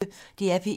DR P1